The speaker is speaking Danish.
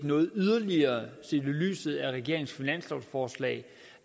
lyset af regeringens finanslovsforslag